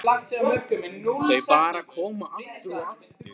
Þau bara koma, aftur og aftur.